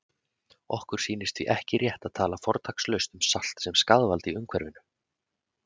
Okkur sýnist því ekki rétt að tala fortakslaust um salt sem skaðvald í umhverfinu.